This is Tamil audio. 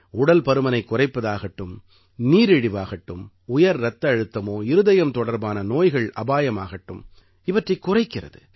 உடல் பருமனைக் குறைப்பதாகட்டும் நீரிழிவாகட்டும் உயர் இரத்த அழுத்தமோ இருதயம் தொடர்பான நோய்கள் அபாயமாகட்டும் இவற்றைக் குறைக்கிறது